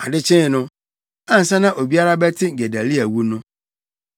Ade kyee no, ansa na obiara bɛte Gedalia wu no,